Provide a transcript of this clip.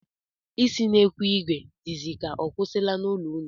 Isi n'ekwu ìgwè dịzi ka ọ kwụsịwala n'ụlọ unu?